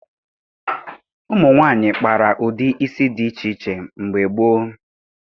Ụmụ nwaanyị kpara ụdị isi dị iche iche mgbe gboo